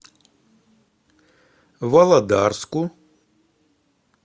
володарску